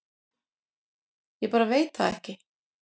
Ég bara veit það ekki